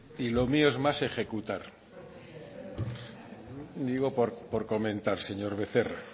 y lo mío es más ejecutar y digo por comentar señor becerra